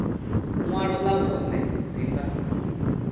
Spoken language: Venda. ṅwalo ḽa vhuṋe dzi nga